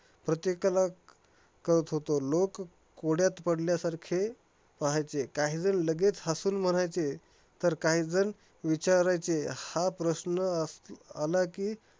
प्रत्येकाला कळतं होतं, लोक कोड्यात पडल्यासारखे पाहायचे. काहीजन लगेच हसून म्हणायचे, तर काहीजण विचारायचे, हा प्रश्न असल आला कि